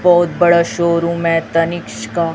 बहुत बड़ा शोरूम है तनिक्स का।